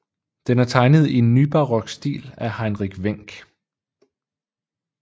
Den er tegnet i nybarok stil af Heinrich Wenck